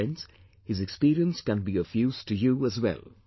Friends, his experience can be of use to you as well